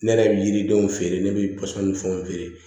Ne yɛrɛ bɛ yiridenw feere ne bɛ pɔsɔni fɛnw feere